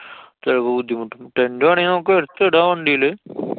ചെലപ്പോ ബുദ്ധിമുട്ടും. tent വേണെങ്കി നമുക്ക് എടുത്തിടാം വണ്ടില്.